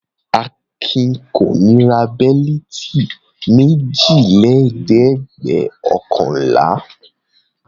Akin kò ní ra bẹ́lítì méjìlélẹ́ẹ̀dẹ́gbẹ̀ọ̀kànlá.